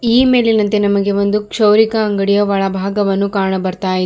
ಈ ಮೇಲಿನಂತೆ ನಮಗೆ ಒಂದು ಕ್ಷೌರಿಕ ಅಂಗಡಿಯ ಒಳಭಾಗವನ್ನು ಕಾಣ ಬರ್ತಾ ಇ --